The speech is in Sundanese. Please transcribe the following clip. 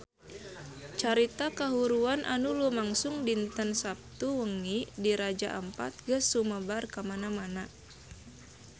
Carita kahuruan anu lumangsung dinten Saptu wengi di Raja Ampat geus sumebar kamana-mana